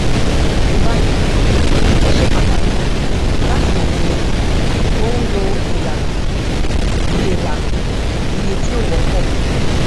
ní báyìí ó ṣe pàtàkì láti mọ pé o ń lo ìlànà iye ìlànà iye tí ó wọpọ